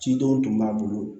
Cidenw tun b'a bolo